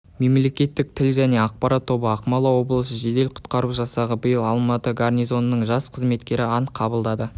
мемлекеттік тіл және ақпарат тобы ақмола облысы жедел-құтқару жасағы биыл алматы гарнизонының жас қызметкері ант қабылдады